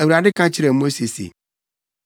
Awurade ka kyerɛɛ Mose se,